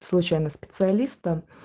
случайно специалиста